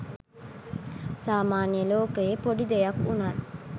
සාමාන්‍ය ලෝකයේ පොඩි දෙයක් වුණත්